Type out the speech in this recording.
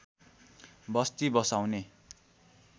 बस्ती बसाउने